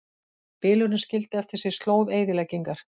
Bylurinn skildi eftir sig slóð eyðileggingar